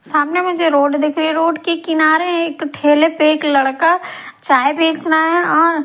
सामने मुझे रोड दिख रही है रोड के किनारे एक ठेले पे एक लड़का चाय बेच रहा है और--